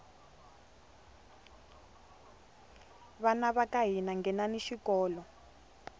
vana vaka hina nghenani xikolo